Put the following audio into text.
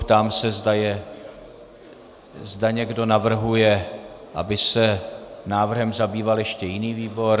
Ptám se, zda někdo navrhuje, aby se návrhem zabýval ještě jiný výbor.